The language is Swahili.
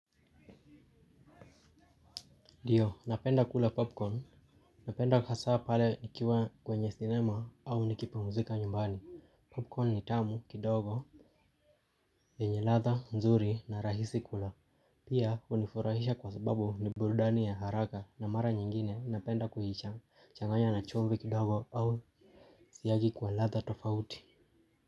Ndio, napenda kula popcorn. Napenda hasa pale nikiwa kwenye sinema au nikipumuzika nyumbani. Popcorn ni tamu kidogo. Yenye ladha, nzuri na rahisi kula. Pia, hunifurahisha kwa sababu ni burudani ya haraka na mara nyingine napenda changanya na chumvi kidogo au siagi kwa ladha tofauti.